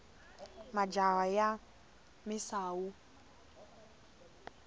majaha ya misawu